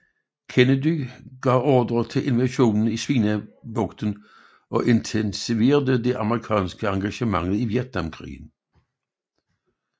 Kennedy gav ordre til invasionen i Svinebugten og intensiverede det amerikanske engagement i Vietnamkrigen